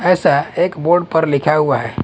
ऐसा एक बोर्ड पर लिखा हुआ है।